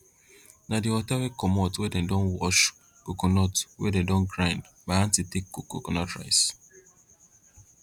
na di wata wey comot wen dem don wash coconut wey don grind my aunty take cook coconut rice